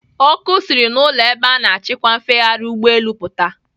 Ọkụ siri n'ụlọ ebe a na-achịkwa mfegharị ụgbọelu pụta.